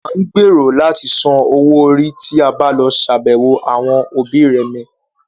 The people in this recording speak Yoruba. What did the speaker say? À ń gbèrò láti san owó orí tí a bá lọ ṣàbẹ̀wọ̀ àwọn òbí remẹ̀